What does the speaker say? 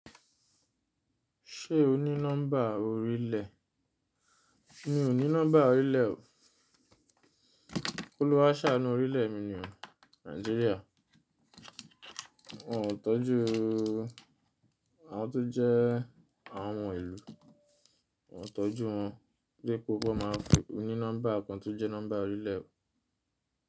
Ṣé o ní nọ́mbà orílẹ̀? Mi ò ní nọ́mbà orílẹ̀ o. Olúwà a ṣanu orílẹ̀ mi ni o, Nàìjíríà. Wọn ò tọ́júu, àwọn tó jẹ́ àwọn ọmọ ìlú, wọ́n ò tọ́jú wọn. Gbé gbogbo máa fi, o ní nọ́mbà kan tó jẹ́ nọ́mbà orílẹ̀ o.